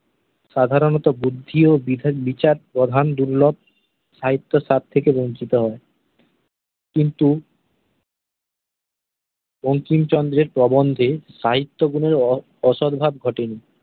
সাধারণতঃ বুদ্ধি ও বিধান বিচার প্রধান দুর্লভ সাহিত্য স্বাদ থেকে বঞ্চিত হয়। কিন্তু, বঙ্কিমচন্দ্র-এর প্রবন্ধে সাহিত্যগুণের অসাড়ভাব ঘটেনি।